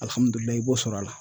i b'o sɔrɔ a la.